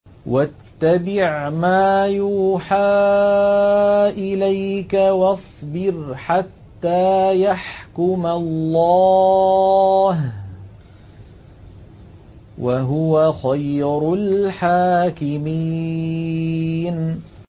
وَاتَّبِعْ مَا يُوحَىٰ إِلَيْكَ وَاصْبِرْ حَتَّىٰ يَحْكُمَ اللَّهُ ۚ وَهُوَ خَيْرُ الْحَاكِمِينَ